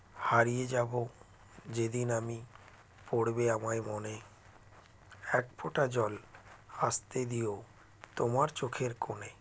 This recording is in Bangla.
হারিয়ে যাবো যেদিন আমি পড়বে আমায় মনে একফোঁটা জল আসতে দিও তোমার চোখের কোণে